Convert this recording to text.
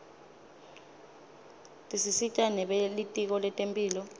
tisita nebelitiko letemphilo